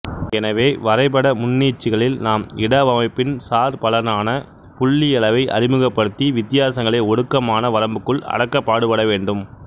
எனவே வரைபட முன்னீட்சிகளில் நாம் இடவமைப்பின் சார்பலனான புள்ளி அளவை அறிமுகப்படுத்தி வித்தியாசங்களை ஒடுக்கமான வரம்புக்குள் அடக்க பாடுபடவேண்டும்